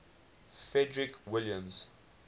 frederick william